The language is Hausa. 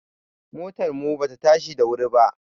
Motar mu ba ta tashi da wuri ba